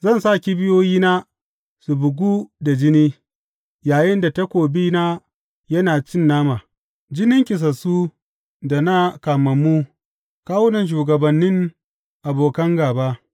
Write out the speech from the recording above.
Zan sa kibiyoyina su bugu da jini, yayinda takobina yana cin nama, jinin kisassu da na kamammu, kawunan shugabannin abokan gāba.